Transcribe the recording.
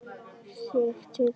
Sigtið og geymið soðið.